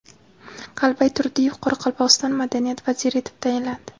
Qalbay Turdiyev Qoraqalpog‘iston madaniyat vaziri etib tayinlandi.